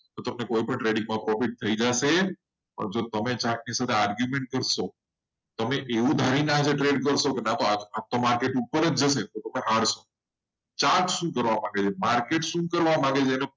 મને કંઈ પણ trading profit થઈ જશે પણ તમે ચાટની સાથે argument કરશો તમે એવું ધારીને આગળ trade કરશો આ તો market ઉપર જ જશે ચાટ શું કરવા માંગે છે? market શું કરવા માંગે છે?